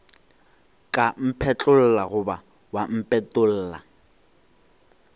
ka mphetlolla goba wa mpetolla